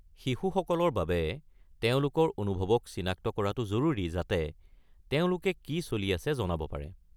শিশুসকলৰ বাবে তেওঁলোকৰ অনুভৱক চিনাক্ত কৰাটো জৰুৰী যাতে তেওঁলোকে কি চলি আছে জনাব পাৰে।